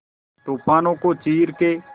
तूफानों को चीर के